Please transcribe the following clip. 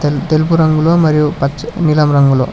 తెలుపు రంగులో మరియు పచ నీలం రంగులో--